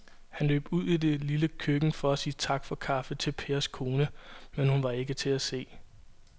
Han løb ud i det lille køkken for at sige tak for kaffe til Pers kone, men hun var ikke til at se.